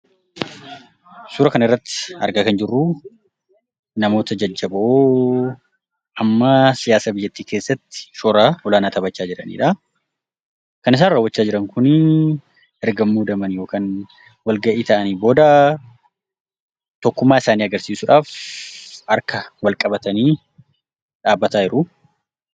Suura kana irratti argaa kan jirruu, namoota jajjaboo, hamma siyaasa biyyattii keessatti shoora olaanaa taphachaa jiranidhaa. Kan isaan raawwachaa jiran kunii erga muudamanii yookaan walgahii taa'anii booda tokkummaa isaanii agarsiisuudhaaf harka wal qabatanii dhaabbataa jiru.